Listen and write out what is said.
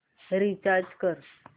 recharge कर